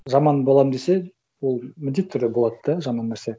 жаман боламын десе ол міндетті түрде болады да жаман нәрсе